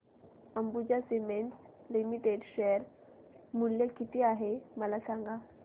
Ambuja cements limited share मूल्य किती आहे मला सांगा